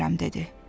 Bilmirəm, dedi.